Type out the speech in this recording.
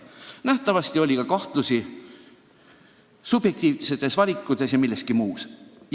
Nähtavasti oli ka kahtlusi subjektiivsetes valikutes ja veel milleski.